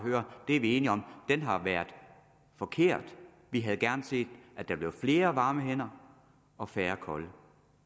er enige om har været forkert vi havde gerne set at der blev flere varme hænder og færre kolde